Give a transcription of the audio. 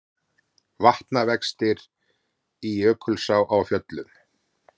Vatnavextir í Jökulsá á Fjöllum